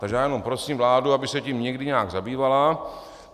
Takže já jenom prosím vládu, aby se tím někdy nějak zabývala.